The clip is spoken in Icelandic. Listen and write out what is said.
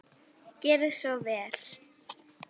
Gerið svo vel!